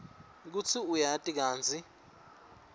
kutsi uyati kantsi